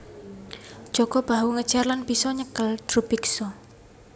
Jaka Bahu ngejar lan bisa nyekel Drubiksa